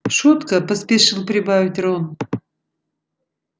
шутка поспешил прибавить рон